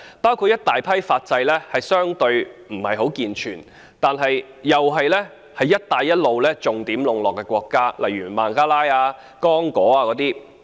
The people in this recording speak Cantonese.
包括一大批法制相對地不健全，但又是在"一帶一路"下重點籠絡的國家，例如孟加拉、剛果等。